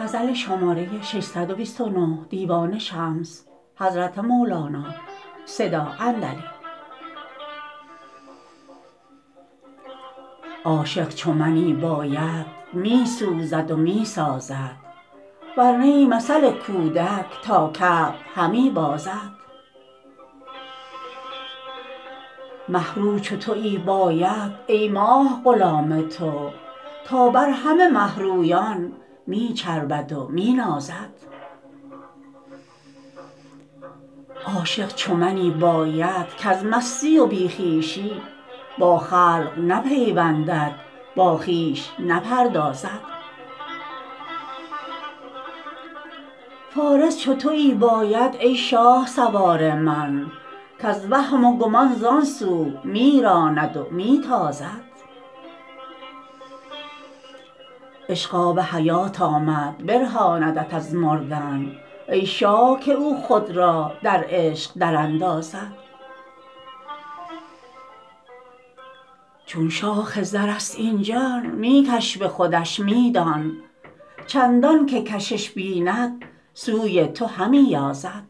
عاشق چو منی باید می سوزد و می سازد ور نی مثل کودک تا کعب همی بازد مه رو چو تویی باید ای ماه غلام تو تا بر همه مه رویان می چربد و می نازد عاشق چو منی باید کز مستی و بی خویشی با خلق نپیوندد با خویش نپردازد فارس چو تویی باید ای شاه سوار من کز وهم و گمان زان سو می راند و می تازد عشق آب حیات آمد برهاندت از مردن ای شاه که او خود را در عشق دراندازد چون شاخ زرست این جان می کش به خودش می دان چندان که کشش بیند سوی تو همی یازد